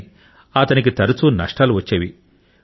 కాని అతనికి తరచూ నష్టాలు వచ్చేవి